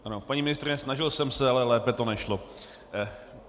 Paní ministryně, snažil jsem se, ale lépe to nešlo.